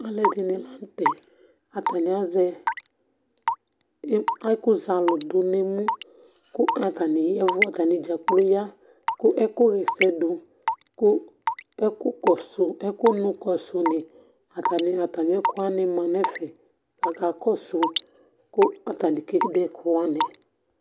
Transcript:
alʋɛdini lantɛ, ataniazɛ ɛkʋ zalʋ dʋnʋɛmʋ kʋ atani yavʋ atani dza kplɔ ya kʋ ɛkʋ yɛsɛ dʋ kʋ ɛkʋ kɔsʋ ɛkʋmʋ kɔsʋ ni atani ɛkʋ manʋ ɛƒɛ kʋ atani kɛdɛ ɛkʋ wani